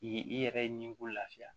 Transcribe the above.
I ye i yɛrɛ ye nin ko lafiya